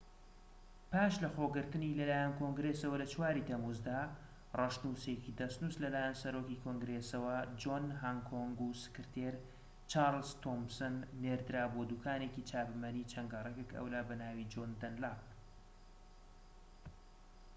پاش لەخۆگرتنی لەلایەن کۆنگرێسەوە لە ٤ ی تەمووزدا، ڕەشنووسێکی دەستنووس لەلایەن سەرۆکی کۆنگرێەسەوە جۆن هانکۆک و سکرتێر چارلز تۆمسنەوە نێردرا بۆ دووکانێکی چاپەمەنی چەند گەڕەکێك ئەولا بەناوی جۆن دەنلاپ